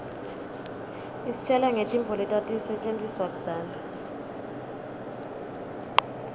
isitjela ngetintfo letatisetjentiswa kudzala